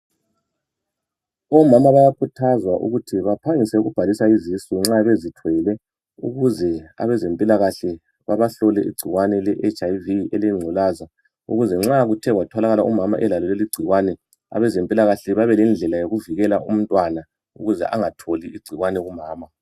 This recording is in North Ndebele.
Omama bayakhuthazwa ukuthi baphangise ukubhalisa izisu nxa bezithwele ukuze abezempilakahle babahlole igcikwane le HIV elengculaza ukuze nxa kuthe kwatholakala umama elalo leli igcikwane abazempilakahle babe lendlela yokuvikele umntwana ukuze angatholi igcikwane kumama.